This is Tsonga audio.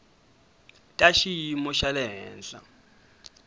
ta xiyimo xa le henhla